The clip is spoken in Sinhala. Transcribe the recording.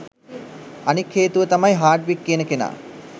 අනික් හේතුව තමයි හාඩ්වික් කියන කෙනා